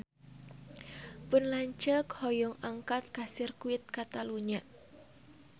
Pun lanceuk hoyong angkat ka Sirkuit Katalunya